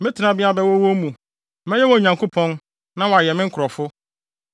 Me tenabea bɛwɔ wɔn mu, mɛyɛ wɔn Nyankopɔn na wɔayɛ me nkurɔfo.